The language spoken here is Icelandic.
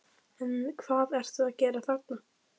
En hvað ertu að gera þarna?